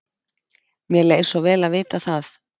Mér leið svo vel að vita það.